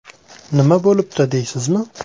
Nima bo‘libdi deysizmi?